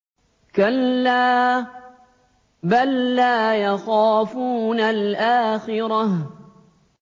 كَلَّا ۖ بَل لَّا يَخَافُونَ الْآخِرَةَ